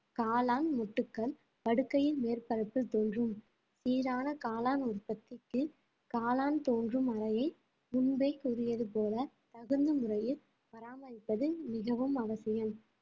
காளான் மொட்டுக்கள் படுக்கையின் மேற்பரப்பில் தோன்றும் சீரான காளான் உற்பத்திக்கு காளான் தோன்றும் அறையை முன்பே கூறியது போல தகுந்த முறையில் பராமரிப்பது மிகவும் அவசியம்